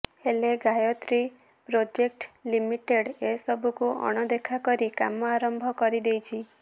ହେଲେ Gayatri project limited ଏସବୁକୁ ଅଣଦେଖା କରି କାମ ଆରମ୍ଭ କରିଦେଇଛି